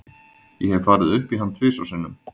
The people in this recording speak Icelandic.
Ég hef farið upp í hann tvisvar sinnum.